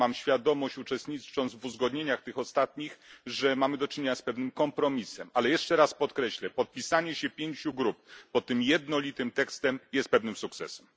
Mam świadomość, uczestnicząc w uzgodnieniach tych ostatnich, że mamy do czynienia z pewnym kompromisem, ale jeszcze raz podkreślę podpisanie się pięciu grup pod tym jednolitym tekstem jest pewnym sukcesem.